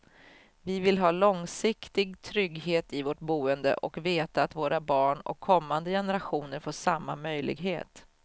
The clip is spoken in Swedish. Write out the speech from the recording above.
Vi vill ha långsiktig trygghet i vårt boende och veta att våra barn och kommande generationer får samma möjlighet.